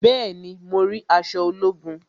Bẹẹni, mo rí aṣọ ológun